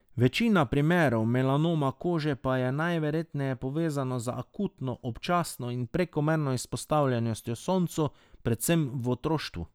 Večina primerov melanoma kože pa je najverjetneje povezana z akutno, občasno in prekomerno izpostavljenostjo soncu, predvsem v otroštvu.